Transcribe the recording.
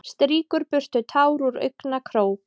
Strýkur burtu tár úr augnakrók.